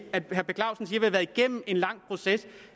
har været igennem en lang proces